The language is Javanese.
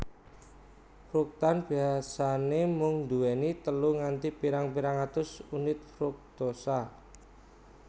Fruktan biasane mung duweni telu nganti pirang pirang atus unit fruktosa